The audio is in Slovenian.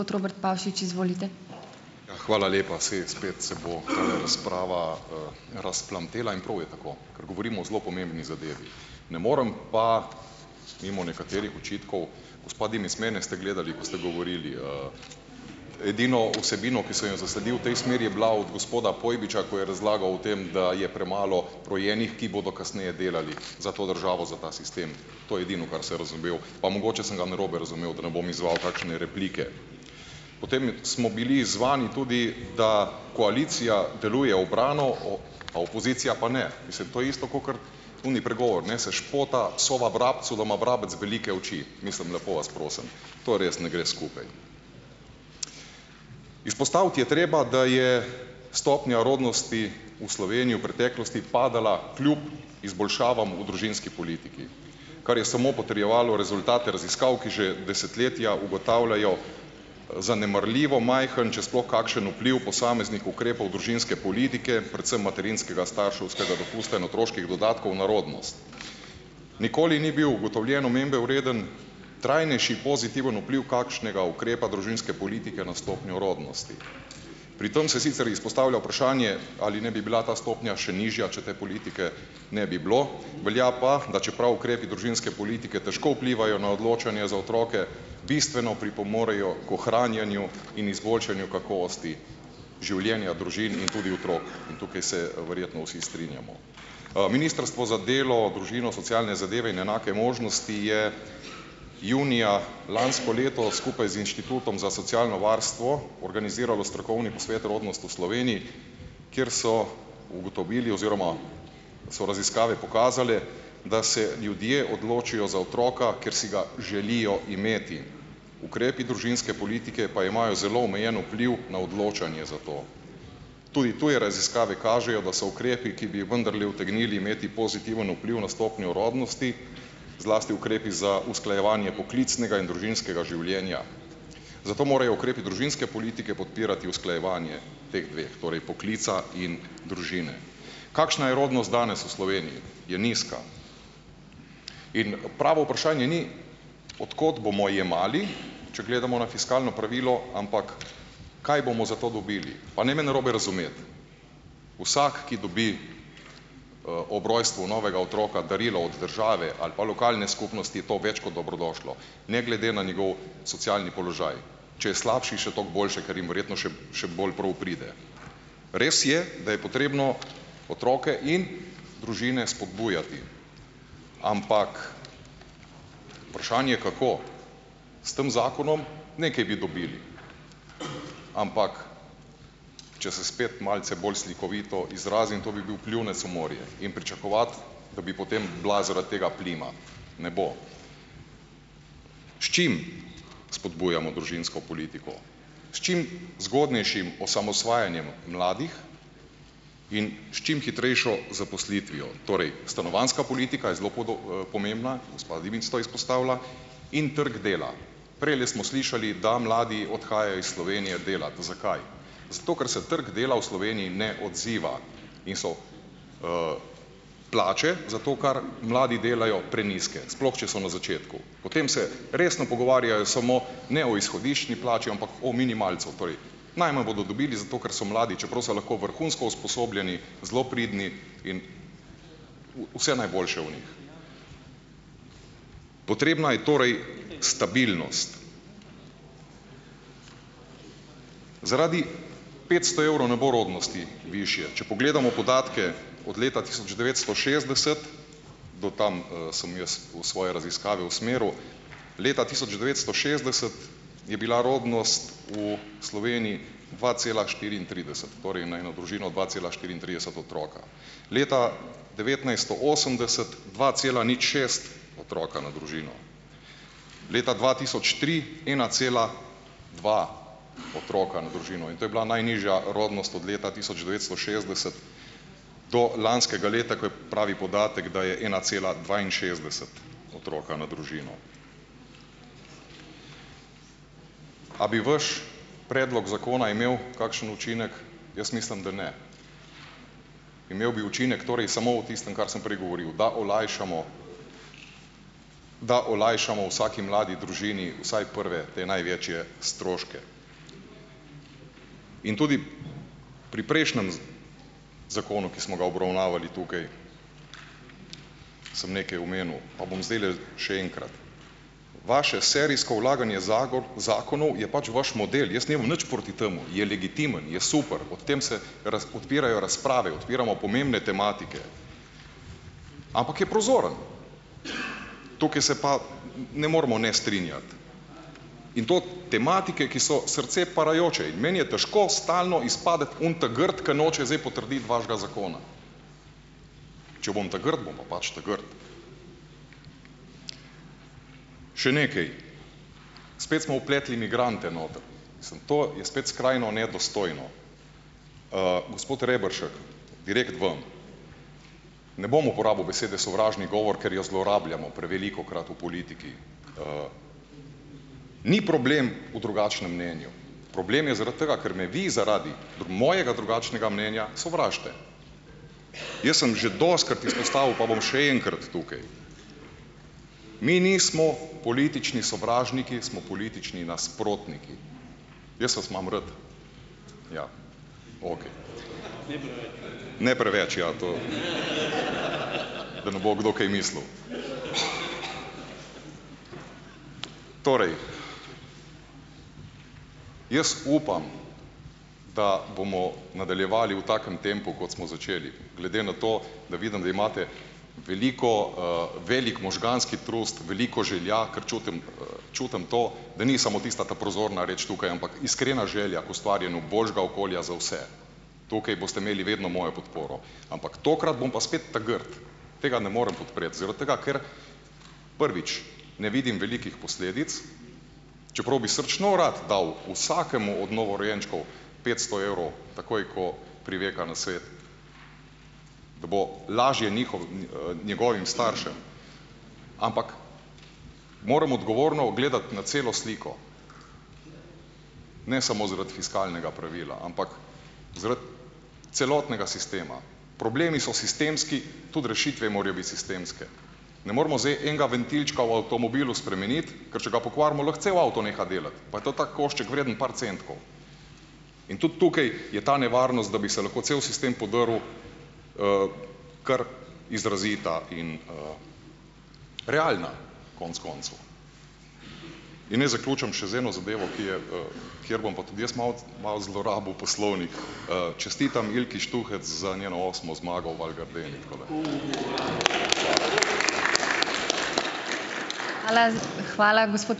Ja, hvala lepa! Saj spet se bo tale razprava, razplamtela in prav je tako, ker govorimo o zelo pomembni zadevi. Ne morem pa mimo nekaterih očitkov. Gospa Dimic, mene ste gledali, ko ste govorili, edino vsebino, ki sem jo zasledil v tej smeri, je bila od gospoda Pojbiča, ko je razlagal o tem, da je premalo rojenih, ki bodo kasneje delali za to državo, za ta sistem. To je edino, kar se razumel, pa mogoče sem ga narobe razumel, da ne bom izzval kakšne replike. Potem smo bili izzvani tudi, da koalicija deluje ubrano, o a opozicija pa ne? Mislim, to je isto kakor oni pregovor, neseš pota, sova vrabcu, da ima vrabec velike oči, mislim, lepo vas prosim. To res ne gre skupaj. Izpostaviti je treba, da je stopnja rodnosti v Sloveniji v preteklosti padala, kljub izboljšavam v družinski politiki, kar je samo potrjevalo rezultate raziskav, ki že desetletja ugotavljajo, zanemarljivo majhen, če sploh kakšen vpliv posameznih ukrepov družinske politike, predvsem materinskega starševskega dopusta in otroških dodatkov na rodnost. Nikoli ni bil ugotovljen omembe vreden trajnejši pozitiven vpliv kakšnega ukrepa družinske politike na stopnjo rodnosti. Pri tam se sicer izpostavlja vprašanje, ali ne bi bila ta stopnja še nižja, če te politike ne bi bilo, velja pa, da čeprav ukrepi družinske politike težko vplivajo na odločanje za otroke, bistveno pripomorejo k ohranjanju in izboljšanju kakovosti življenja družin in tudi otrok in tukaj se, verjetno vsi strinjamo. Ministrstvo za delo, družino, socialne zadeve in enake možnosti je junija lansko leto skupaj z Inštitutom za socialno varstvo organiziralo strokovni posvet Rodnost v Sloveniji, kjer so ugotovili oziroma so raziskave pokazale, da se ljudje odločijo za otroka, ker si ga želijo imeti. Ukrepi družinske politike pa imajo zelo omejen vpliv na odločanje za to. Tudi tuje raziskave kažejo, da so ukrepi, ki bi vendarle utegnili imeti pozitiven vpliv na stopnjo rodnosti, zlasti ukrepi za usklajevanje poklicnega in družinskega življenja. Zato morajo ukrepi družinske politike podpirati usklajevanje teh dveh, torej poklica in družine. Kakšna je rodnost danes v Sloveniji? Je nizka. In pravo vprašanje ni, od kot bomo jemali, če gledamo na fiskalno pravilo, ampak kaj bomo za to dobili. Pa ne me narobe razumeti. Vsak, ki dobi, ob rojstvu novega otroka darilo od države ali pa lokalne skupnosti, je to več kot dobrodošlo. Ne glede na njegov socialni položaj. Če je slabši, še toliko boljše, ker jim verjetno še še bolj prav pride. Res je, da je potrebno otroke in družine spodbujati, ampak vprašanje, kako. S tem zakonom, nekaj bi dobili, ampak, če se spet malce bolj slikovito izrazim, to bi bil "pljunec" v morje, in pričakovati, da bi potem bila zaradi tega plima. Ne bo. S čim spodbujamo družinsko politiko? S čim zgodnejšim osamosvajanjem mladih in s čim hitrejšo zaposlitvijo, torej, stanovanjska politika je zelo pomembna, gospa Dimic to izpostavlja, in trg dela. Prejle smo slišali, da mladi odhajajo iz Slovenije delat. Zakaj? Zato, ker se trg dela v Sloveniji ne odziva in so plače, za to, kar mladi delajo, prenizke. Sploh če so na začetku. Potem se resno pogovarjajo samo ne o izhodiščni plači, ampak o minimalcu. Torej - najmanj bodo dobili, zato ker so mladi, čeprav so lahko vrhunsko usposobljeni, zelo pridni in vse najboljše o njih. Potrebna je torej stabilnost. Zaradi petsto evrov ne bo rodnosti višje. Če pogledamo podatke od leta tisoč devetsto šestdeset - do tam, sem jaz v svoji raziskave usmeril. Leta tisoč devetsto šestdeset je bila rodnost v Sloveniji dva cela štiriintrideset. Torej na eno družino dva cela štiriintrideset otroka. Leta devetnajststo osemdeset dva cela nič šest otroka na družino. Leta dva tisoč tri ena cela dva otroka na družino. In to je bila najnižja rodnost od leta tisoč devetsto šestdeset do lanskega leta, ko je, pravi podatek, da je ena cela dvainšestdeset otroka na družino. A bi vaš predlog zakona imel kakšen učinek? Jaz mislim, da ne. Imel bi učinek, torej samo v tistem, kar sem prej govoril. Da olajšamo - da olajšamo vsaki mladi družini vsaj prve te največje stroške. In tudi pri prejšnjem zakonu, ki smo ga obravnavali tukaj, sem nekaj omenil. Pa bom zdajle še enkrat. Vaše serijsko vlaganje zakonov je pač vaš model. Jaz nimam nič proti temu. Je legitimen. Je super. Ob tem se odpirajo razprave. Odpiramo pomembne tematike. Ampak je prozoren. Tukaj se pa ne moremo ne strinjati. In to tematike, ki so srce parajoče. In meni je težko stalno izpasti oni ta grd, k noče zdaj potrditi vašega zakona. Če bom ta grd, bom pa pač ta grd. Še nekaj. Spet smo vpletli migrante noter. Mislim, to je spet skrajno nedostojno. Gospod Rebršek. Direkt vam. Ne bom uporabil besede sovražni govor, ker jo zlorabljamo prevelikokrat v politiki. Ni problem v drugačnem mnenju. Problem je zaradi tega, ker me vi zaradi mojega drugačnega mnenja sovražite. Jaz sem že dostikrat izpostavil pa bom še enkrat tukaj. Mi nismo politični sovražniki, smo politični nasprotniki. Jaz vas imam rad. Ja, okej. Ne preveč, ja to. Da ne bo kdo kaj mislil. Torej. Jaz upam, da bomo nadaljevali v takem tempu, kot smo začeli. Glede na to, da vidim, da imate veliko, - velik možganski trust, veliko želja, ker čutim, čutim to, da ni samo tista ta prozorna reč tukaj, ampak iskrena želja k ustvarjanju boljšega okolja za vse. Tukaj boste imeli vedno mojo podporo. Ampak tokrat bom pa spet ta grd. Tega ne morem podpreti. Zaradi tega ker, prvič - ne vidim velikih posledic. Čeprav bi srčno rad dal vsakemu od novorojenčkov petsto evrov takoj, ko priveka na svet. Da bo lažje njegovim staršem. Ampak moram odgovorno gledati na celo sliko. Ne samo zaradi fiskalnega pravila. Ampak zaradi celotnega sistema. Problemi so sistemski, tudi rešitve morajo biti sistemske. Ne moramo zdaj enega ventilčka v avtomobilu spremeniti, ker če ga pokvarimo, lahko cev avto neha delati. Pa je to tako košček, vreden par centkov. In tudi tukaj je ta nevarnost, da bi se lahko celo sistem podrl, kar izrazita in, - realna, konec koncev. In naj zaključim še z eno zadevo, ki je, kjer bom pa tudi jaz malo malo zlorabil poslovnik. Čestitam Ilki Štuhec za njeno osmo zmago v Val Gardeni.